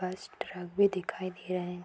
बस ट्रक भी दिखाई दे रहे हैं।